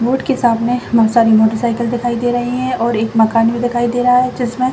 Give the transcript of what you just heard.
road के सामने बहुत सारे मोटरसाइकिल दिखाई दे रहे है और एक मकान भी दिखाई दे रहा है जिसमें --